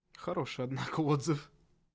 хороший однако отзыв